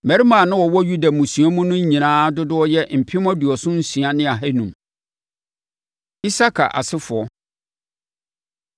Mmarima a na wɔwɔ Yuda mmusua mu no nyinaa dodoɔ yɛ mpem aduɔson nsia ne ahanum. Isakar Asefoɔ